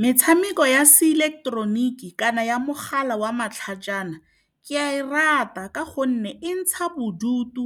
Metshameko ya se ileketeroniki kana ya mogala wa matlhajana, ke a e rata ka gonne e ntsha bodutu.